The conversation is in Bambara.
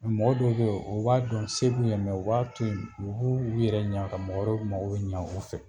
Mɔgɔ dɔw beyi o b'a dɔn se se b'u ɲɛ u b'a toyi u ɲɛ ka mɔgɔ wɛrɛw mago ɲɛ u fɛ.